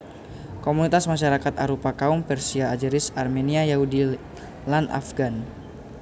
Komunitas masarakat arupa kaum Persia Azeris Armenia Yahudi lan Afghan